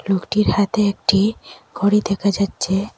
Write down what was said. লোকটির হাতে একটি ঘড়ি দেখা যাচ্ছে।